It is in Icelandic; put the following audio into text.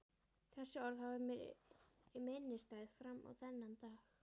Þessi orð hafa verið mér minnisstæð fram á þennan dag.